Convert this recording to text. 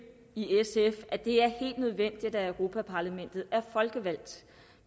i sf at det er helt nødvendigt at europa parlamentet er folkevalgt